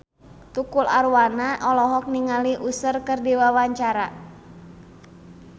Tukul Arwana olohok ningali Usher keur diwawancara